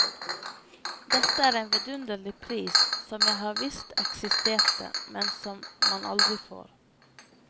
Dette er en vidunderlig pris som jeg har visst eksisterte, men som man aldri får.